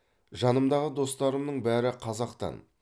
жанымдағы достарымның бәрі қазақтан